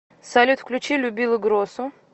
салют включи любила гросу